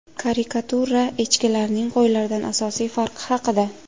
Karikatura: Echkilarning qo‘ylardan asosiy farqi haqida.